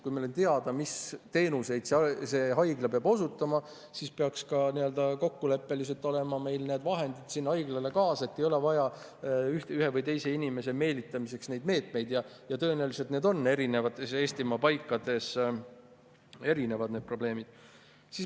Kui meil on teada, mis teenuseid haigla peab osutama, siis peaks ka kokkuleppeliselt olema meil need vahendid haiglale kaasa, ühe või teise inimese meelitamiseks ei oleks neid meetmeid siis vaja ja tõenäoliselt on erinevates Eestimaa paikades üldse erinevad probleemid.